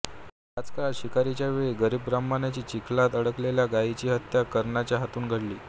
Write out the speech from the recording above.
ह्याच काळात शिकारीच्या वेळी एका गरीब ब्राह्मणाच्या चिखलात अडकलेल्या गायीची हत्या कर्णाच्या हातून घडली